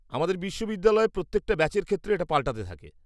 -আমাদের বিশ্ববিদ্যালয় প্রত্যেকটা ব্যাচের ক্ষেত্রে এটা পালটাতে থাকে।